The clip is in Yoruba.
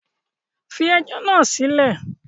Fi ẹjọ́ náà sílẹ̀!